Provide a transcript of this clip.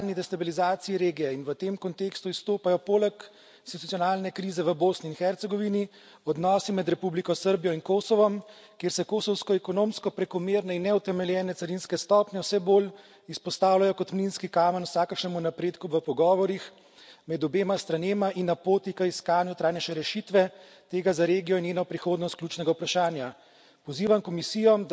Še več, priča smo nadaljnji destabilizaciji regije in v tem kontekstu izstopajo, poleg institucionalne krize v Bosni in Hercegovini, odnosi med Republiko Srbijo in Kosovom, kjer se kosovsko ekonomsko prekomerne in neutemeljene carinske stopnje vse bolj izpostavljajo kot minski kamen vsakršnemu napredku v pogovorih med obema stranema in na poti k iskanju trajnejše rešitve tega za regijo in njeno prihodnost ključnega vprašanja.